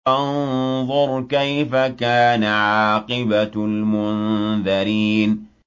فَانظُرْ كَيْفَ كَانَ عَاقِبَةُ الْمُنذَرِينَ